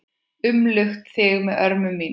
Umlukt þig með örmum mínum.